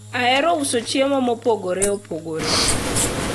ahero uso chiemo mopogore opogore